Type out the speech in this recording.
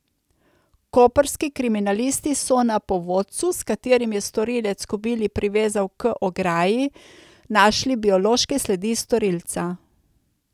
Koprski kriminalisti so na povodcu, s katerim je storilec kobili privezal k ogradi, našli biološke sledi storilca.